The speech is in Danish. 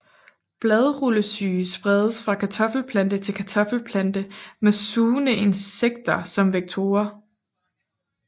Bladrullesyge spredes fra kartoffelplante til kartoffelplante med sugende insekter som vektorer